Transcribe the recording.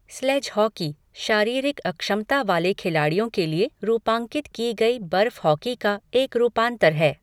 Sledge hockey, शारीरिक अक्षमता वाले खिलाड़ियों के लिए रूपांकित की गई बर्फ़ हॉकी का एक रूपांतर है।